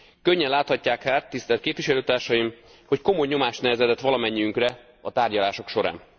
Könnyen láthatják hát, tisztelt Képviselőtársaim, hogy komoly nyomás nehezedett valamennyiünkre a tárgyalások során.